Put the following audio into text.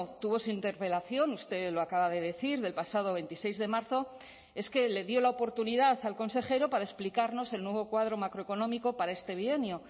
tuvo su interpelación usted lo acaba de decir del pasado veintiséis de marzo es que le dio la oportunidad al consejero para explicarnos el nuevo cuadro macroeconómico para este bienio